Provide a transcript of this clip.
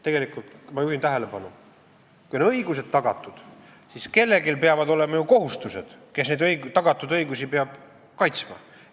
Tegelikult, ma juhin tähelepanu, kui on õigused tagatud, siis kellelgi peavad olema ju kohustused, nendel, kes neid tagatud õigusi peavad kaitsma.